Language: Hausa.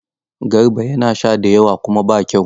Garba yana sha da yawa kuma ba kyau.